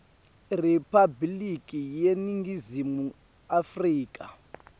iriphabliki yeningizimu afrika